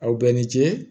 Aw bɛn ni ce